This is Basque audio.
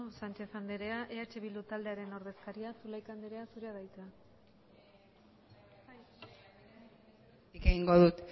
sánchez andrea eh bildu taldearen ordezkaria zulaika anderea zurea da hitza egingo dut